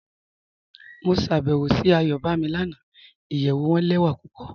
Mo ṣàbẹ́wò sí Ayọ̀bámí lànà, ìyẹ̀wù wọn lẹwa pupọ.